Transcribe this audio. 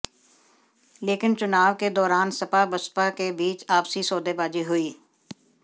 लेकिन चुनाव के दौरान सपा बसपा के बीच आपसी सौदेबाजी हुई